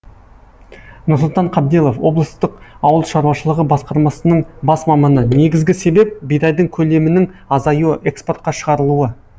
нұрсұлтан қабделов облыстық ауыл шаруашылығы басқармасының бас маманы негізгі себеп бидайдың көлемінің азаюы экспортқа шығарылуы